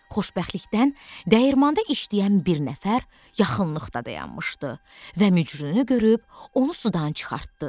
Xoşbəxtlikdən dəyirmanda işləyən bir nəfər yaxınlıqda dayanmışdı və mücrünü görüb onu sudan çıxartdı.